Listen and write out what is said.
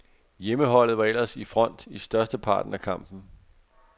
Hjemmeholdet var ellers i front i størsteparten af kampen.